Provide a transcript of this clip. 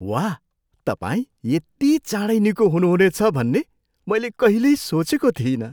वाह! तपाईँ यति चाँडै निको हुनुहुनेछ भन्ने मैले कहिल्यै सोचेको थिइनँ।